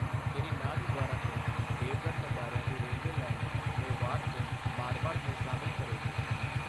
ਸ਼੍ਰੀ ਨਾਥਦਵਾਰਾ ਤੋਂ ਦੇਵਗੜ੍ਹ ਮਦਾਰਿਯਾ ਦੀ railway line, Mewar ਤੋਂ ਮਾਰਵਾੜ ਨੂੰ ਸ਼ਾਮਿਲ ਕਰੇਗੀ।